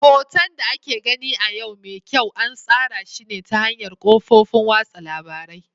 Hoton da ake gani a yau mai kyau an tsara shi ne ta hanyar kafofin watsa labarai.